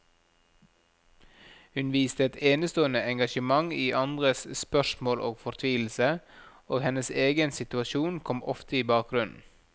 Hun viste et enestående engasjement i andres spørsmål og fortvilelse, og hennes egen situasjon kom ofte i bakgrunnen.